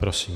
Prosím.